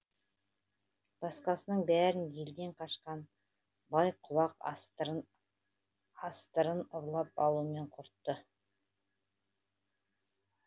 басқасының бәрін елден қашқан бай құлақ астырын ұрлап алумен құртты